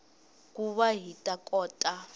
ku va hi ta kota